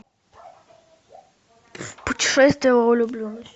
путешествие во влюбленность